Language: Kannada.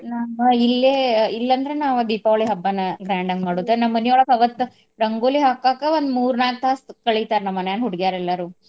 ನಮ್ಮ ಇಲ್ಲೆ ಇಲ್ಲೆ ಅಂದ್ರ ನಾವ್ ದೀಪಾವಳಿ ಹಬ್ಬನ grand ಆಗ್ ಮಾಡೋದು ನಮ್ ಮಾನಿಯೊಳ್ಗ ಅವತ್ತ ರಂಗೋಲಿ ಹಾಕಾಕ ಒಂದ್ ಮೂರ್ ನಾಕ್ ತಾಸ್ ಕಳಿತಾರ ನಮ್ ಮನ್ಯಾನ್ ಹುಡ್ಗಯಾರೆಲ್ಲರೂ.